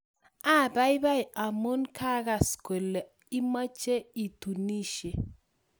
Apaipai amun kagas kole imoche itunisye